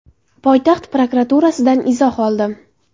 poytaxt prokuraturasidan izoh oldim.